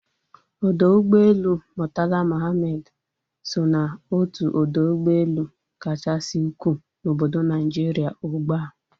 Ọdọ ụgbọelu Murtala Muhammed so ná otu odo ụgbọelu kachasị ukwuu na obodo Naijiria ugbua